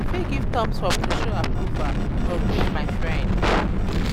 i fit give thumbs up to show approval or greet my friend.